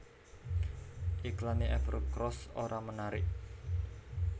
Iklane Evercross ora menarik